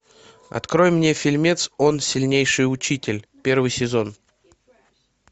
открой мне фильмец он сильнейший учитель первый сезон